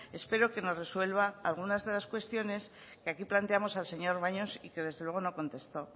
espero que nos resuelva algunas de las cuestiones que aquí planteamos al señor baños y que desde luego no contestó